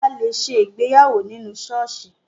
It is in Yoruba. A lè ṣe ìgbéyàwó nínú ṣọ́ọ̀ṣì